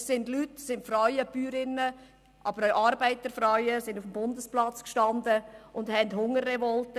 Es standen Leute, Bäuerinnen, aber auch Arbeiterfrauen auf dem Bundesplatz und machten eine Hungerrevolte.